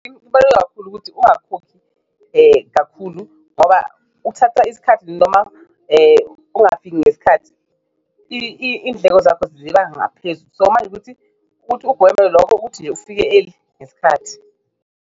Kubaluleke kakhulu ukuthi ungakhokhi kakhulu ngoba kuthatha isikhathi noma ungafiki ngesikhathi indleko zakho ziba ngaphezu so, manje ukuthi kuthi ugweme lokho, ukuthi nje ufike eli ngesikhathi.